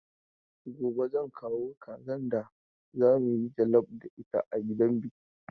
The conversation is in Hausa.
Gobe zan kawo kazan da za mu yi jallaf da ita a gidan biki.